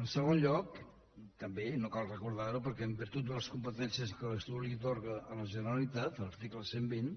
en segon lloc també i no cal recordar ho perquè en virtut de les competències que l’estatut atorga a la generalitat a l’article cent i vint